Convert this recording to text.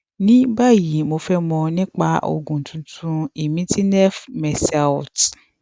ní báyìí mo fẹ mọ nípa oògùn tuntun imitinef mercilte